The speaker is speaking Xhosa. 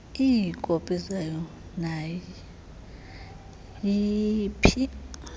iikopi zayo nayiphi